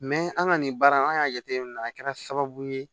an ka nin baara in an y'a jateminɛ a kɛra sababu ye